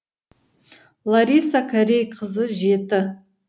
лариса корей қызы жеті